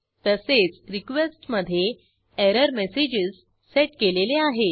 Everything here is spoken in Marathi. तसेच रिक्वेस्ट मधे एरर्मस्ग्ज सेट केलेले आहेत